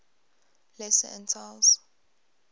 lesser antilles